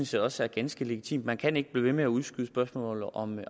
set også er ganske legitimt man kan ikke blive ved med at udskyde spørgsmålet om